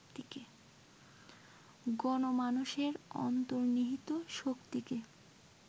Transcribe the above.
গণমানসের অন্তর্নিহিত শক্তিকে